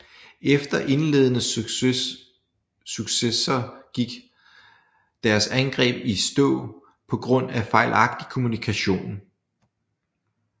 Efter indledende successer gik deres angreb i stå på grund af fejlagtig kommunikation